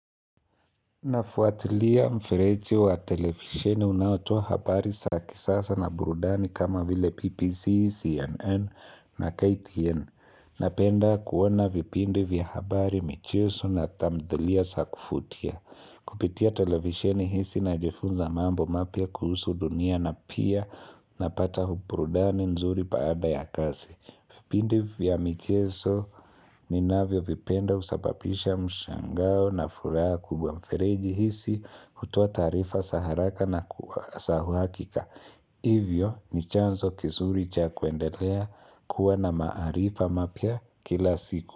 Nafuatilia mfereji wa televisheni unaotoa habari za kisasa na burudani kama vile BBC, CNN na KTN. Napenda kuona vipindi vya habari michezo na tamdhilia za kuvutia. Kupitia televisheni hizi najifunza mambo mapya kuhusu dunia na pia napata burudani nzuri baada ya kazi. Vipindi vya micheso ninavyo vipenda husababisha mshangao na furaha kubwa mfereji hizi hutoa taarifa za haraka na za uhuhakika. Hivyo ni chanzo kizuri cha kuendelea kuwa na maarifa mapya kila siku.